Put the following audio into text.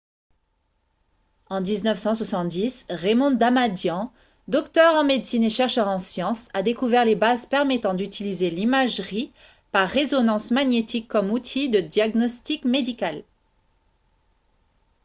en 1970 raymond damadian docteur en médecine et chercheur en sciences a découvert les bases permettant d'utiliser l'imagerie par résonance magnétique comme outil de diagnostic médical